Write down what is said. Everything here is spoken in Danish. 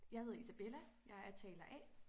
Jeg hedder Isabella jeg er taler A